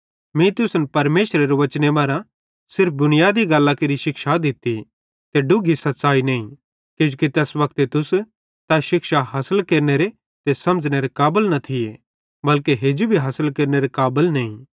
मीं तुसन परमेशरेरे वचने मरां सिर्फ बुनियादी गल्लां केरि शिक्षा दित्ती ते डुग्घी सच़्च़ाई नईं किजोकि तैस वक्ते तुस तै शिक्षा हासिल केरनेरे ते समझ़नेरे काबल न थिये बल्के हेजू भी हासिल केरनेरे काबल नईं